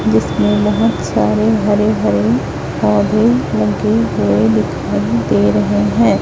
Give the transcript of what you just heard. जिसमें बहोत सारे हरेभरे पौधे लगे हुए दिखाई दे रहे है।